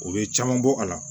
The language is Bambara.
U bɛ caman bɔ a la